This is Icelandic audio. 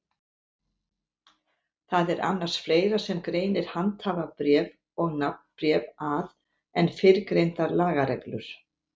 Það er annars fleira sem greinir handhafabréf og nafnbréf að en fyrrgreindar lagareglur.